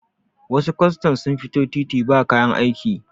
wasu kwastan sun fito titi ba kayan aiki